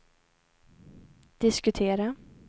diskutera